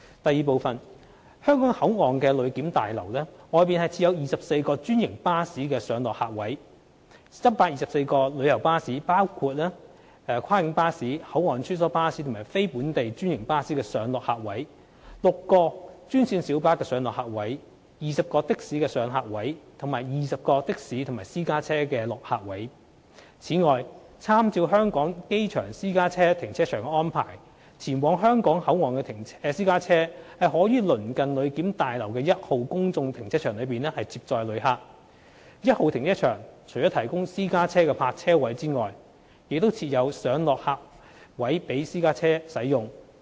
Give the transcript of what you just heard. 二香港口岸旅檢大樓外設有24個專營巴士上落客位、124個旅遊巴士上落客位、6個專線小巴上落客位、20個的士上客位，以及20個的士和私家車落客位。此外，參照香港機場私家車停車場的安排，前往香港口岸的私家車可於鄰近旅檢大樓的一號公眾停車場內接載旅客。一號停車場除了提供私家車泊車位外，亦設有上落客位供私家車使用。